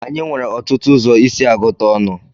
Anyị nwere ọtụtụ ụzọ isi agụta ọnụ.